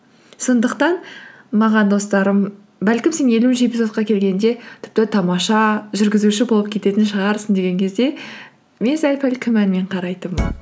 сондықтан маған достарым бәлкім сен елуінші эпизодқа келгенде тіпті тамаша жүргізуші болып кететін шығарсың деген кезде мен сәл пәл күмәнмен қарайтынмын